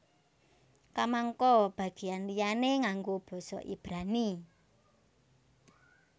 Kamangka bagéyan liyané nganggo basa Ibrani